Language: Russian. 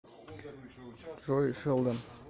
джой шелдон